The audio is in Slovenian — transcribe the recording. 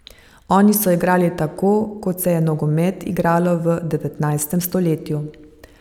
Oni so igrali tako kot se je nogomet igralo v devetnajstem stoletju.